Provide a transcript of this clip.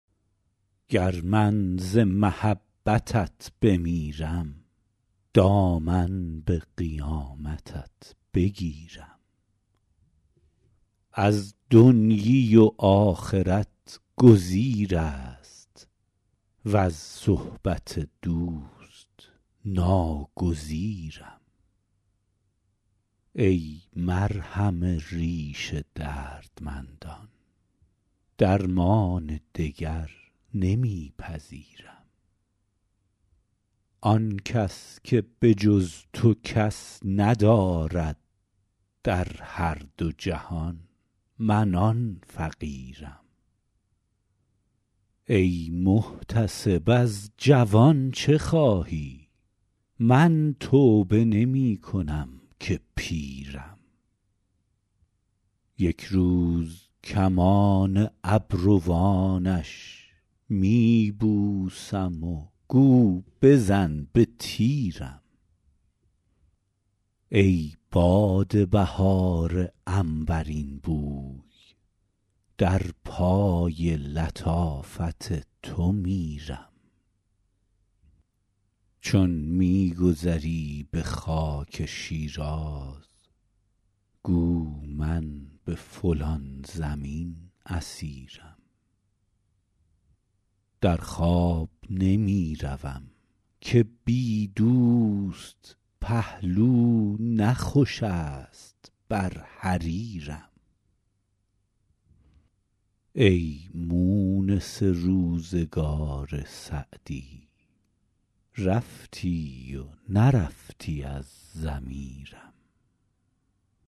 گر من ز محبتت بمیرم دامن به قیامتت بگیرم از دنیی و آخرت گزیر است وز صحبت دوست ناگزیرم ای مرهم ریش دردمندان درمان دگر نمی پذیرم آن کس که به جز تو کس ندارد در هر دو جهان من آن فقیرم ای محتسب از جوان چه خواهی من توبه نمی کنم که پیرم یک روز کمان ابروانش می بوسم و گو بزن به تیرم ای باد بهار عنبرین بوی در پای لطافت تو میرم چون می گذری به خاک شیراز گو من به فلان زمین اسیرم در خواب نمی روم که بی دوست پهلو نه خوش است بر حریرم ای مونس روزگار سعدی رفتی و نرفتی از ضمیرم